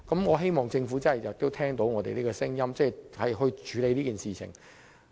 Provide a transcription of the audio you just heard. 我希望政府能夠聆聽我們的聲音，處理此事。